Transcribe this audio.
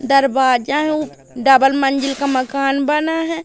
दरवाजा उ डबल मंजिल का मकान बना है।